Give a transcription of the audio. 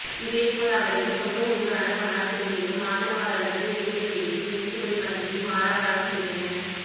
இதேபோல் அவரது சொந்த ஊரான மன்னார்குடியிலும் ஆதரவாளர்கள் வெடிகளை வெடித்தும் இனிப்புகளை வழங்கியும் ஆரவாரம் செய்தனர்